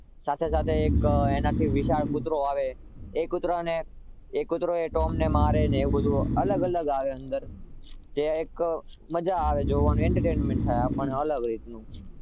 સાથે સાથે એનાથી વિશાળ એક કૂતરો આવે એ કૂતરાને એ કૂતરો ટોમને મારે ને એવું બધુ અલગ અલગ આવે અંદર જે એક મજા આવે જોવાનું entertainment થાય આપણને અલગ રીતનું